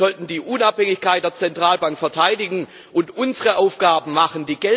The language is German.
Wir sollten die Unabhängigkeit der Zentralbank verteidigen und unsere Arbeit machen.